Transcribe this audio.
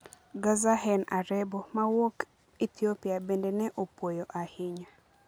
Gezahegn Arebo, mawuok Ethiopia, bende ne opuoyo ahinya: